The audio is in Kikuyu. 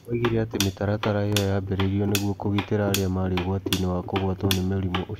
Oigire atĩ mĩtaratara ĩyo yaambĩrĩirio nĩguo kũgitĩra arĩa marĩ ũgwati-inĩ wa kũgwatwo nĩ mũrimũ ũcio.